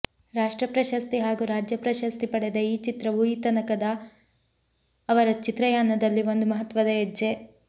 ರಾಷ್ಟ್ರ ಪ್ರಶಸ್ತಿ ಹಾಗೂ ರಾಜ್ಯಪ್ರಶಸ್ತಿ ಪಡೆದ ಈ ಚಿತ್ರವು ಈ ತನಕದ ಅವರ ಚಿತ್ರಯಾನದಲ್ಲಿ ಒಂದು ಮಹತ್ವದ ಹೆಜ್ಜೆ